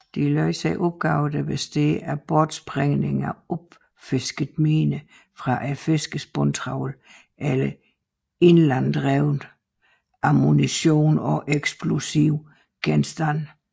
De løser opgaver der består af bortsprængning af opfiskede miner fra fiskernes bundtravl eller ilanddrevet ammunition og eksplosive genstande